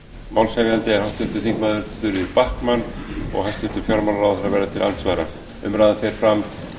málshefjandi er háttvirtir þingmenn þuríður backman hæstvirtur fjármálaráðherra verður til andsvara umræðan fer fram